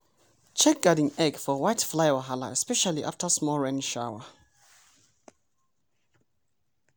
check garden egg for whitefly wahala especially after small rain shawa.